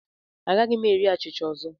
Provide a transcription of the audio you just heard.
Agaghị m eri achịcha ọzọ.